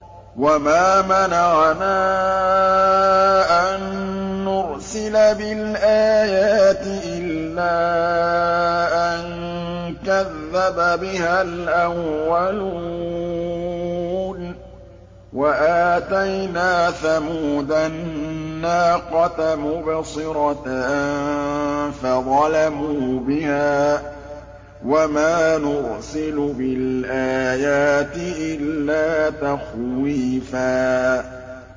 وَمَا مَنَعَنَا أَن نُّرْسِلَ بِالْآيَاتِ إِلَّا أَن كَذَّبَ بِهَا الْأَوَّلُونَ ۚ وَآتَيْنَا ثَمُودَ النَّاقَةَ مُبْصِرَةً فَظَلَمُوا بِهَا ۚ وَمَا نُرْسِلُ بِالْآيَاتِ إِلَّا تَخْوِيفًا